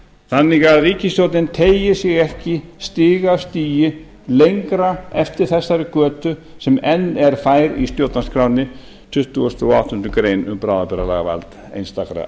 þannig að ríkisstjórnin teygi sig ekki stig af stigi lengra eftir þessari götu sem enn er fær í stjórnarskránni tuttugasta og áttundu greinar um bráðabirgðalagavald einstakra